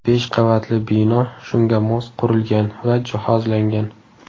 Besh qavatli bino shunga mos qurilgan va jihozlangan.